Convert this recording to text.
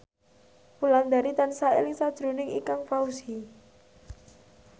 Wulandari tansah eling sakjroning Ikang Fawzi